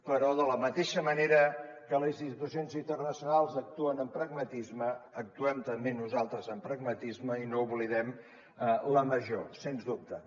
però de la mateixa manera que les institucions internacionals actuen amb pragmatisme actuem també nosaltres amb pragmatisme i no oblidem la major sens dubte